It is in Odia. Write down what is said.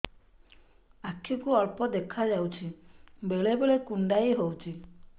ଆଖି କୁ ଅଳ୍ପ ଦେଖା ଯାଉଛି ବେଳେ ବେଳେ କୁଣ୍ଡାଇ ହଉଛି